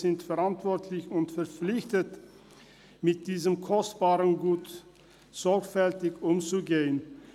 Wir sind verantwortlich und verpflichtet, mit diesem kostbaren Gut sorgfältig umzugehen.